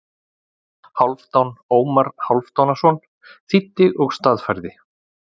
Hálfdan Ómar Hálfdanarson þýddi og staðfærði.